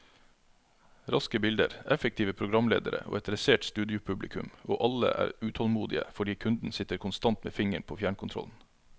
Raske bilder, effektive programledere og et dressert studiopublikum, og alle er utålmodige fordi kunden sitter konstant med fingeren på fjernkontrollen.